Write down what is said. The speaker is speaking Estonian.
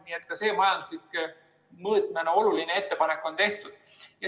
Nii et ka see majandusliku mõõtmena oluline ettepanek on tehtud.